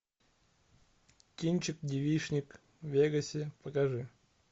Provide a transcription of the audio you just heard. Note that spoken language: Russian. киньчик девичник в вегасе покажи